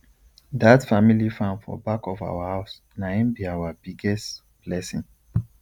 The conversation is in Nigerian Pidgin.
dat family farm for back of our house nai b our biggest blessing